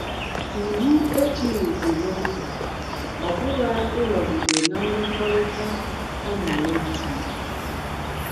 Iwu ejighị gị n’ụzọ ọ bụla ịnọgide ná mmekọrịta a na - emegbu gị.